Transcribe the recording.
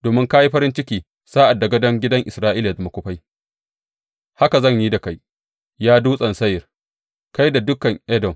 Domin ka yi farin ciki sa’ad da gādon gidan Isra’ila ya zama kufai, haka zan yi da kai, ya Dutsen Seyir, kai da dukan Edom.